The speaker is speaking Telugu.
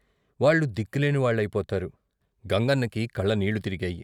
వాళ్ళు దిక్కు లేని వాళ్ళయిపోతారు " గంగన్నకి కళ్ళనీళ్ళు తిరిగాయి.